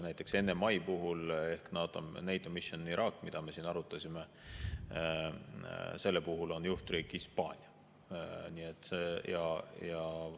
Näiteks NMI puhul ehk NATO Mission Iraqi puhul, mida me siin arutasime, on juhtriik Hispaania.